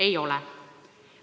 Ei ole!